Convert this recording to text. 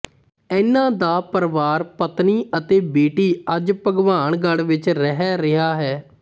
ਇਹਨਾਂ ਦਾ ਪਰਵਾਰ ਪਤਨੀ ਅਤੇ ਬੇਟੀ ਅੱਜ ਭਗਵਾਨਗੜ੍ਹ ਵਿੱਚ ਰਹਿ ਰਿਹਾ ਹੈ